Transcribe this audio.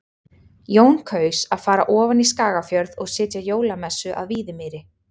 Jón kaus að fara ofan í Skagafjörð og sitja jólamessu að Víðimýri.